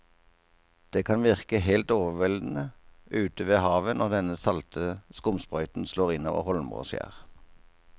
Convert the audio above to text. Det kan virke helt overveldende ute ved havet når den salte skumsprøyten slår innover holmer og skjær.